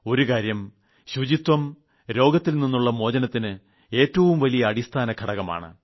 ഒരു കാര്യം ശുചിത്വം രോഗത്തിൽ നിുളള മോചനത്തിന് ഏറ്റവും വലിയ അടിസ്ഥാന ഘടകമാണ്